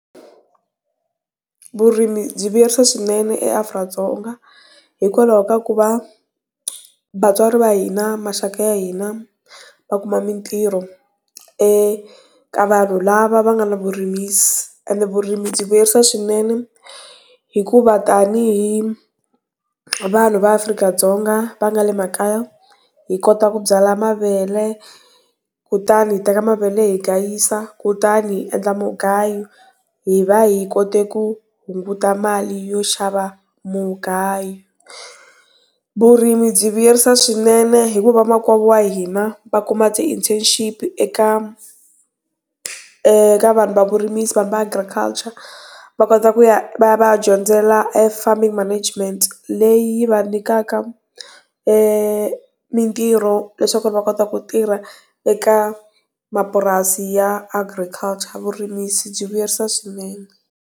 Vurimi byi vuyerisa swinene eAfrika-Dzonga hikwalaho ka ku va, va vatswari va hina, maxaka ya hina, va kuma mintirho, eka vanhu lava va nga na vurimisi. Ende vurimi byi vuyerisa swinene, hikuva tanihi vanhu va Afrika-Dzonga va nga le makaya hi kota ku byala mavele kutani hi teka mavele hi gayisa, kutani hi endla mugayo, hi va hi kote ku hunguta mali yo xava mugayo. Vurimi byi vuyerisa swinene hikuva vamakwavo va hina, va kuma ti-internship-i eka, eeh ka vanhu va vurimisi vanhu va agriculture. Va kota ku ya va ya va ya dyondzela farming management leyi va nyikaka, mintirho leswaku va kota ku tirha eka mapurasi ya agriculture. Vurimisi byi vuyerisa swinene.